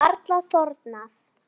Það er varla þornað.